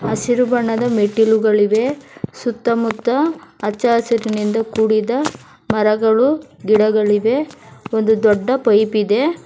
ಹಸಿರು ಬಣ್ಣದ ಮೆಟ್ಟಿಲುಗಳಿವೆ ಸುತ್ತ ಮುತ್ತ ಹಚ್ಚ ಹಸಿರಿನಿಂದ ಕೂಡಿದ ಮರಗಳು ಗಿಡಗಳಿವೆ ಒಂದು ದೊಡ್ಡ ಪೈಪ್ ಇದೆ.